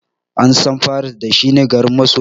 An san paris da shi ne garin masoya.